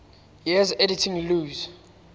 years editing lewes's